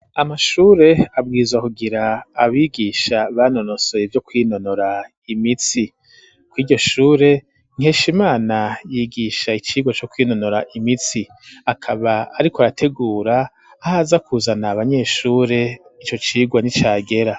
Amashure abwirizwa kugira abigisha banonosoye ivyo kwinonora imitsi kuriryo shure Nkeshimana yigisha icirwa co kwinonora imitsi akaba ariko arategura ahaza kuzana abanyeshure ico cigwa nicagera.